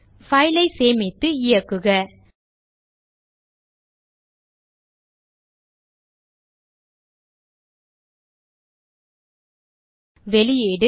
file ஐ சேமித்து இயக்குக வெளியீடு